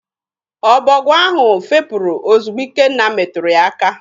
Ọbọgwụ ahụ fepụrụ ozigbo Ikenna meturu ya aka.